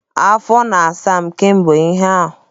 Afọ na-asa m kamgbe ụnyaahụ.